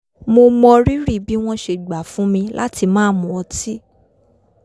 mo mọrírì bí wọ́n ṣe gbà fún mi láti má mu ọtí